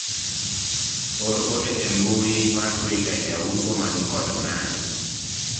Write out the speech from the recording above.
or ote e mbui mar twitter jauso mani kod ng'ayi